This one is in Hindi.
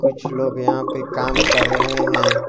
कुछ लोग यहां पे काम कर रहे हैं।